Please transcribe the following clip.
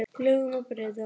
Lögum má breyta.